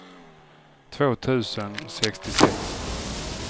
två tusen sextiosex